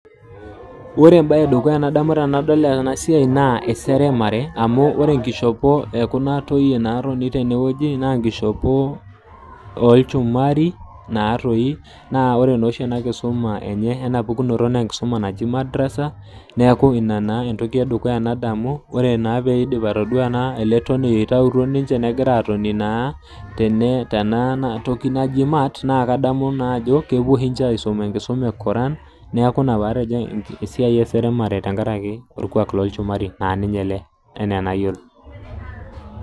Ore embae ee dukuya nadamu tenadol ena siai naa eseremare amu ore enkishopo ee kuna toyie naatoni tenewueji naa nkishopo oo lchumari naatoi ore naa oshi ena kisuma enye eina pukunoto naa enkisuma naji madrasa niaku ina naa entoki ee dukuya nadamu tenaidim atodua ele toniei oitayutuo ninche negira atoni naa tene tenatoki naaji naji mat nadamu naaji ajo kepuo ninche aisoma enkisuma enche ee koran niaku ina pee atejo esiai ee seremare te nkaraki orkua loo lchumari naa ele enaa enayiolo.